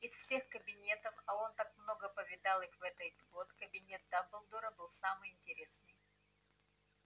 из всех кабинетов а он так много повидал их в этой год кабинет дамблдора был самый интересный